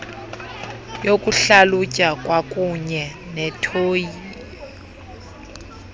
yokuhlalutya kwakuunye nethiyori